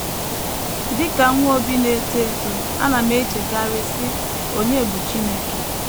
Dị ka nwa Obi na - eto eto, ana m echekarị, sị, ‘ Ònye bụ Chineke? ’